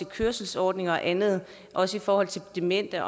kørselsordninger og andet også i forhold til demente